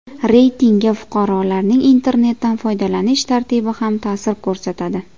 Reytingga fuqarolarning internetdan foydalanish tartibi ham ta’sir ko‘rsatadi.